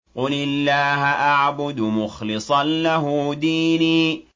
قُلِ اللَّهَ أَعْبُدُ مُخْلِصًا لَّهُ دِينِي